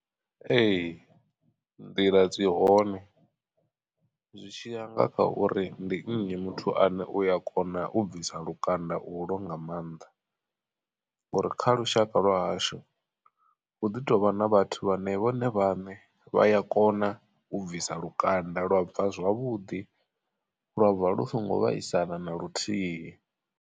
Ee nḓila dzi hone zwi tshiya nga kha uri ndi nnyi muthu ane uya kona u bvisa lukanda ulwo nga maanḓa. Ngori kha lushaka lwahashu hu ḓi tovha na vhathu vhane vhone vhaṋe vha ya kona u bvisa lukanda lwa bva zwavhuḓi lwa bva lu songo vhaisala na luthihi.